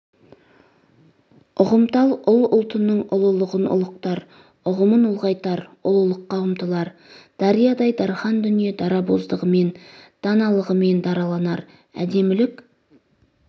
ұғымтал ұл ұлтының ұлылығын ұлықтар ұғымын ұлғайтар ұлылыққа ұмтылар дариядай дархан дүние дарабоздығымен даналығымен дараланар әдемілік